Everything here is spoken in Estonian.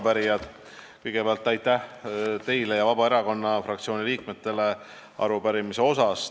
Head arupärijad, kõigepealt aitäh teile ja Vabaerakonna fraktsiooni liikmetele arupärimise eest!